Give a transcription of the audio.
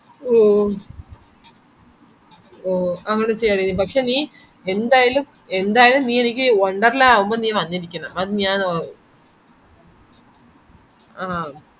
ഓ ഓ അങ്ങനെ ശെരി പക്ഷെ നീ ന്തയലും ന്തായലും നീ എനിക്കി വണ്ടർലണ്ടിൽ ലാവുമ്പോ വന്നിരിക്കണം അത്‌ ഞാൻ ഓ ആഹ്